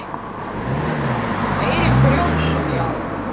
Eiríkur Jónsson: Já.